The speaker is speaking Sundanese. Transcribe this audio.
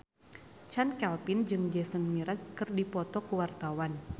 Chand Kelvin jeung Jason Mraz keur dipoto ku wartawan